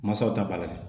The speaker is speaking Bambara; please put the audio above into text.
Masaw t'a bali